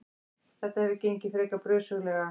Þetta hefur gengið frekar brösuglega.